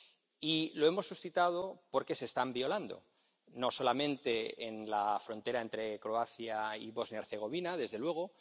Y lo hemos suscitado porque se están violando, no solamente en la frontera entre Croacia y Bosnia Herzegovina, desde luego.